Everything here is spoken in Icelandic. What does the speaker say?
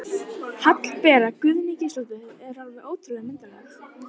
Hallbera Guðný Gísladóttir er alveg ótrúlega myndarleg